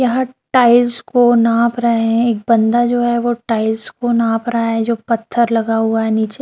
यहाँ टाइल्स को नाप रहे है एक बंदा जो है वो टाइल्स को नाप रहा है जो पत्थर लगा हुआ है नीचे --